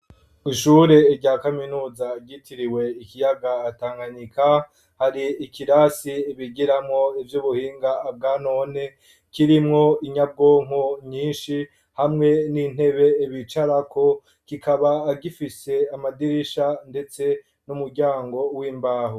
Ishure rya kaminuza, ryitiriwe ikiyaga Tanganyika; hari ikirasi bigiramwo ivy'ubuhinga bwa none, kirimwo inyabwonko nyinshi, hamwe n'intebe bicarako; kikaba gifise amadirisha, ndetse n'umuryango, w'imbaho.